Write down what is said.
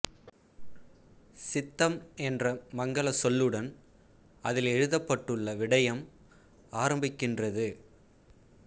சித்தம் என்ற மங்கலச் சொல்லுடன் அதில் எழுதப்பட்டுள்ள விடயம் ஆரம்பிக்கின்றது